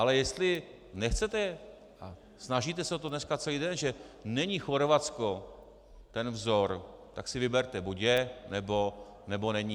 Ale jestli nechcete, a snažíte se o to dneska celý den, že není Chorvatsko ten vzor, tak si vyberte - buď je, nebo není.